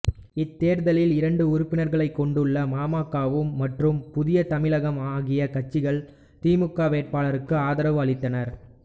இத்தேர்தலில் இரண்டு உறுப்பினர்களைக் கொண்டுள்ள மமகவும் மற்றும் புதிய தமிழகம் ஆகிய கட்சிகள் திமுக வேட்பாளருக்கு ஆதரவு அளித்தனர்